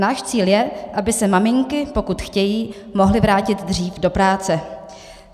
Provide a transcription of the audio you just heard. Náš cíl je, aby se maminky, pokud chtějí, mohly vrátit dřív do práce.